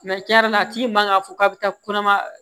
tiɲɛ yɛrɛ la a tigi man ka fɔ k'a bɛ taa kɔnɔma